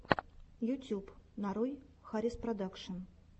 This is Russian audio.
ютуб нарой хариспродакшн